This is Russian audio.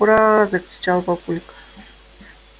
ура закричал папулька